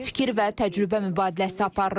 Fikir və təcrübə mübadiləsi aparırıq.